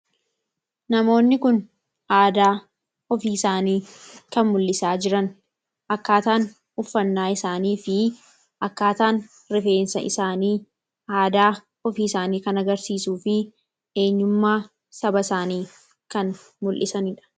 Namoonni kun aadaa ofii isaanii kan mul'isaa jiran akkaataan uffannaa isaanii fi akkaataan rifeensa isaanii aadaa ofii isaanii kanagarsiisu fi eenyummaa saba isaanii kan mul'isaniidha.